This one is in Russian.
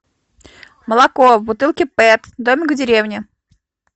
молоко в бутылке пэт домик в деревне